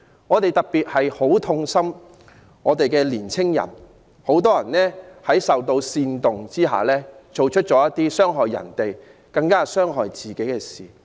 我們特別痛心時下的青年人，他們很多人受到煽動而做出傷害別人及更加傷害自己的事。